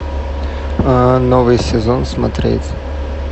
новый сезон смотреть